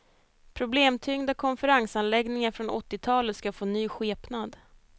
Problemtyngda konferensansläggningar från åttiotalet ska få ny skepnad.